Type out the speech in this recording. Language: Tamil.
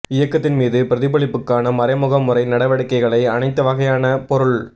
இயக்கத்தின் மீது பிரதிபலிப்புக்கான மறைமுக முறை நடவடிக்கைகளை அனைத்து வகையான பொருள்